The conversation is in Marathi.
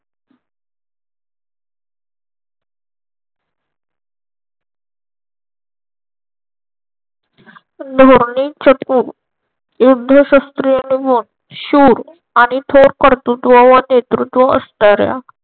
धोरणे युद्ध शस्त्रीय अनमोल शूर आणि थोर कर्तृत्व व नेतृत्व असणाऱ्या